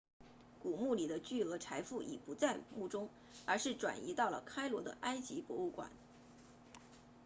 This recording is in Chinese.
古墓里的巨额财富已不在墓中而是转移到了开罗的埃及博物馆